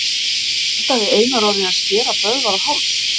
Hótaði Einar Orri að skera Böðvar á háls?